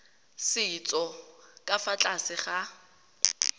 setso ka fa tlase ga